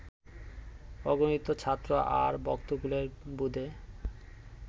অগণিত ছাত্র আর ভক্তকুলের বোধে